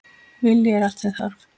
Vilji er allt sem þarf!